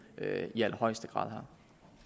i allerhøjeste grad